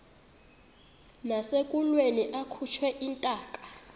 nasekulweni akhutshwe intaka